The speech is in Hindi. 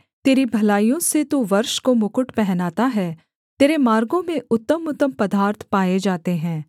तेरी भलाइयों से तू वर्ष को मुकुट पहनता है तेरे मार्गों में उत्तमउत्तम पदार्थ पाए जाते हैं